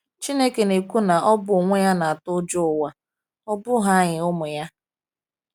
"Chineke na-ekwu na Ọ bụ onwe Ya na-atụ ụjọ ụwa, ọ bụghị anyị, ụmụ Ya."